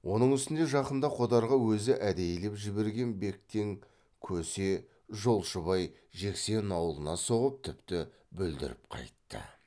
оның үстіне жақында қодарға өзі әдейілеп жіберген бектен көсе жолшыбай жексен аулына соғып тіпті бүлдіріп қайтты